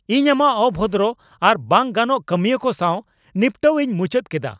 ᱤᱧ ᱟᱢᱟᱜ ᱚᱵᱷᱚᱫᱨᱚ ᱟᱨ ᱵᱟᱝ ᱜᱟᱱᱚᱜ ᱠᱟᱹᱢᱤᱭᱟᱹ ᱠᱚ ᱥᱟᱶ ᱱᱤᱯᱴᱟᱹᱣ ᱤᱧ ᱢᱩᱪᱟᱹᱫ ᱠᱮᱫᱟ ᱾